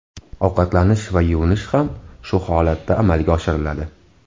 Ovqatlanish va yuvinish ham shu holatda amalga oshiriladi.